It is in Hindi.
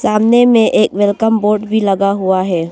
सामने में एक वेलकम बोर्ड भी लगा हुआ है।